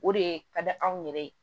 O de ka di anw yɛrɛ ye